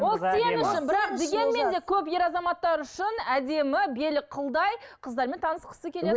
ол сен үшін бірақ дегенмен де көп ер азаматтар үшін әдемі белі қылдай қыздармен танысқысы келеді